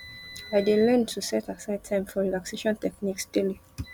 i dey learn to set aside time for relaxation techniques daily